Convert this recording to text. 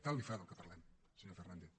tant li fa del que parlem senyor fernández